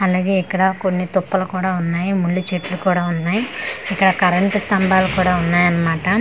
అలాగే ఇక్కడ కొన్ని తుప్పలు కూడా ఉన్నాయి ముళ్ళ చెట్లు కూడా ఉన్నాయి ఇక్కడ కరెంట్ స్తంభాలు కూడా ఉన్నాయి అన్నమాట ఆ రొ--